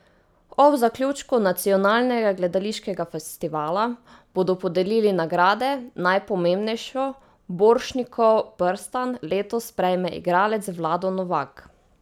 Ob zaključku nacionalnega gledališkega festivala bodo podelili nagrade, najpomembnejšo, Borštnikov prstan, letos prejme igralec Vlado Novak.